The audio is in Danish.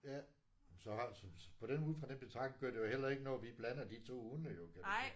Ja men så har så så på den ud fra den betragtning gør det jo heller ikke noget at vi blander de to hunde jo kan man sige